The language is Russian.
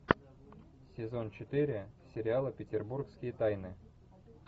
сезон четыре сериала петербургские тайны